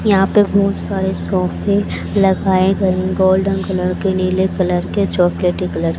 यहा पे बहोत सारे सोफे लगाये गये गोल्डन कलर के नीले कलर के चॉकलेटी कलर --